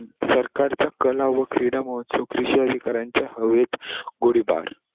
सरकारच्या, कला व क्रीडा महोत्सव कृषी अधिकारांचा हवेत गोळीबार.